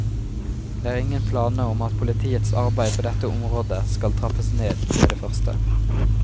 Det er ingen planer om at politiets arbeid på dette området skal trappes ned med det første.